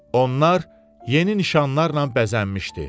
Onlar yeni nişanlarla bəzənmişdi.